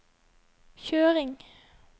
kjøring